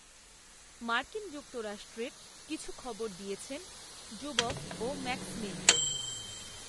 মার্কিন যুক্তরাষ্ট্রের কিছু খবর দিয়েছেন, জুবফ, ও ম্যাক্সমিন